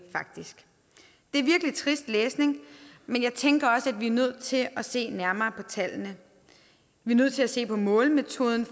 det er virkelig trist læsning men jeg tænker også at vi er nødt til at se nærmere på tallene vi er nødt til at se på målemetoden